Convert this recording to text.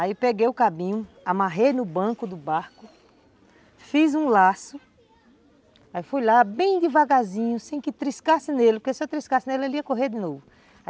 Aí peguei o cabinho, amarrei no banco do barco, fiz um laço, aí fui lá bem devagarzinho, sem que triscasse nele, porque se eu triscasse nele, ele ia correr de novo.